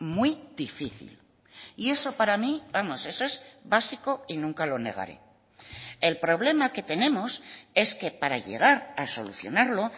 muy difícil y eso para mí vamos eso es básico y nunca lo negaré el problema que tenemos es que para llegar a solucionarlo